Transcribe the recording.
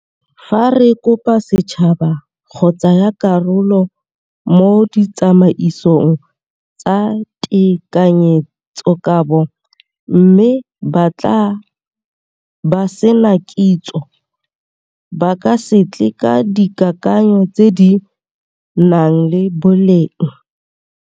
Fa re kopa setšhaba go tsaya karolo mo ditsamaisong tsa tekanyetsokabo mme ba tla ba sena kitso, ba ka se tle ka dikakanyo tse di nang le boleng.